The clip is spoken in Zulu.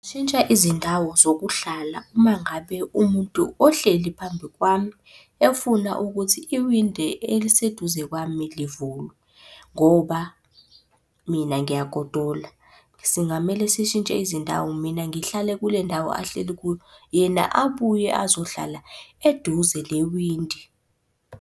Shintsha izindawo zokuhlala uma ngabe umuntu ohleli phambi kwami efuna ukuthi iwindi eliseduze kwami livulwe, ngoba mina ngiyagodola. Singamele sishintshe izindawo mina ngihlale kule ndawo ahleli kuyo, yena abuye azohlala eduze newindi.